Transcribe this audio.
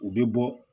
U bɛ bɔ